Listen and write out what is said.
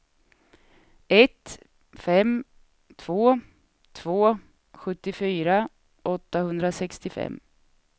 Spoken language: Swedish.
ett fem två två sjuttiofyra åttahundrasextiofem